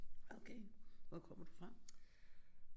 Okay hvor kommer du fra